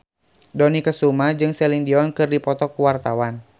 Dony Kesuma jeung Celine Dion keur dipoto ku wartawan